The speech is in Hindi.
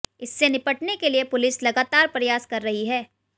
इससे निपटने के लिए पुलिस लगातार प्रयास कर रही है